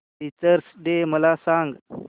teachers day मला सांग